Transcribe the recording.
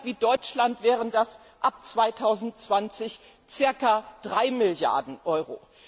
Für ein Land wie Deutschland wären das ab 2020 circa 3 Milliarden Euro.